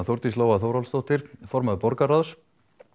Þórdís Lóa Þórhallsdóttir formaður borgarráðs